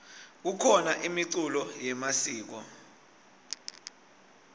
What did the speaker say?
kukhona imiculo yemasiko